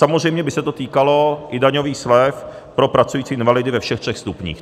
Samozřejmě by se to týkalo i daňových slev pro pracující invalidy ve všech třech stupních.